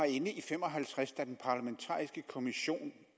i nitten fem og halvtreds da den parlamentariske kommissions